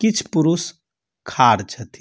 किछ पुरुष खार छथी।